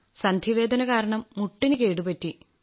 സന്ധിവേദന കാരണം മുട്ടിന് കേടുപറ്റി